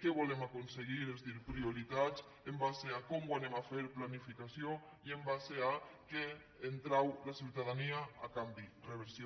què volem aconseguir és a dir prioritats en base a com ho farem planificació i en base a què en trau la ciutadania a canvi reversió